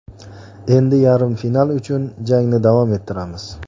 Endi yarim final uchun jangni davom ettiramiz.